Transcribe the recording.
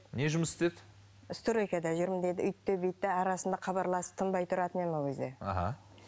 не жұмыс істеді стройкада жүрмін деді үйтті бүйтті арасында хабарласып тынбай тұратын едім ол кезде аха